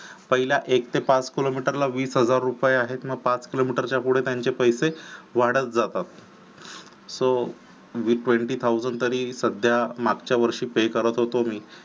पहिला एक ते पाच किलोमीटर ला वीस हजार रुपये आहेत ना पाच किलोमीटरच्या पुढे त्यांचे पैसे वाढत जातात so twenty thousand तरी सध्या मागच्या वर्षी pay करत होतो मी